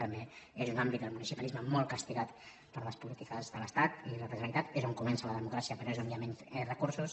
també és un àmbit el municipalisme molt castigat per les polítiques de l’estat i de la generalitat és on comença la democràcia però és on hi ha menys recursos